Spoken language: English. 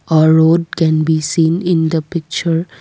a road can be seen in the picture.